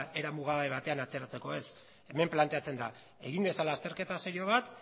era muga batean atzeratzeko ez hemen planteatzen da egin dezala azterketa serio bat